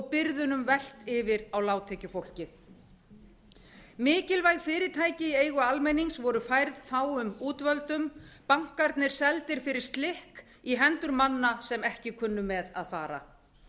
byrðunum velt yfir á lágtekjufólkið mikilvæg fyrirtæki í eigu almennings voru færð fáum útvöldum bankarnir seldir fyrir slikk í hendur manna sem ekki kunnu með að fara